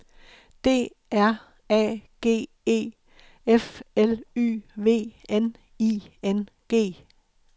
D R A G E F L Y V N I N G